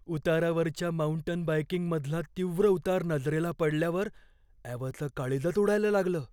उतारावरच्या mountain बाइकिंगमधला तीव्र उतार नजरेला पडल्यावर ॲवाचं काळीजच उडायला लागलं.